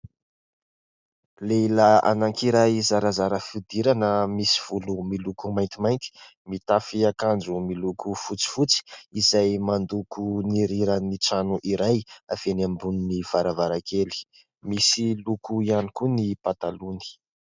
Lehilahy anankiray zarazara fihodirana misy volo miloko maintimainty, mitafy akanjo miloko fotsifotsy izay mandoko ny riran'ny trano iray avy eny ambony varavarankely. Misy loko ihany koa ny patalohany.